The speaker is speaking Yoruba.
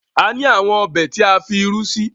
a ni awọn Ọbẹ̀ tí a fí ìrù sí.